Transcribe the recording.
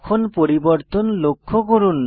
এখন পরিবর্তন লক্ষ্য করুন